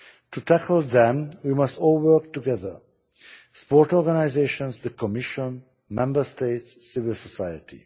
To tackle them, we must all work together sports organisations, the Commission, Member States and civil society.